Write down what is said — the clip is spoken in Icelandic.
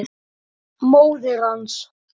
Móðir hans